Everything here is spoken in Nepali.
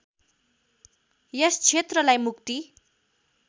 यस क्षेत्रलाई मुक्ति